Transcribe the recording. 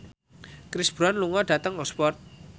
Chris Brown lunga dhateng Oxford